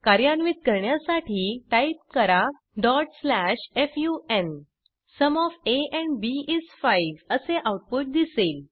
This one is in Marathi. कार्यान्वित करण्यासाठी टाईप करा fun sum of a and b is 5 असे आऊटपुट दिसेल